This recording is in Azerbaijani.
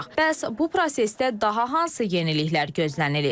Bəs bu prosesdə daha hansı yeniliklər gözlənilir?